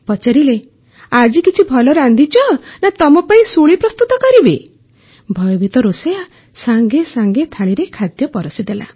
ପଚାରିଲେ ଆଜି କିଛି ଭଲ ରାନ୍ଧିଛ ନା ତମ ପାଇଁ ଶୁଳି ପ୍ରସ୍ତୁତ କରିବି ଭୟଭୀତ ରୋଷେଇୟା ସଙ୍ଗେ ସଙ୍ଗେ ଥାଳିରେ ଖାଦ୍ୟ ପରଷିଦେଲା